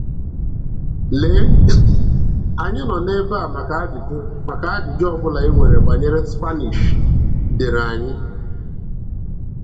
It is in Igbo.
Lee, anyị nọ ebe a maka ajụjụ maka ajụjụ ọbụla i nwere banyere Spanish, deere anyị!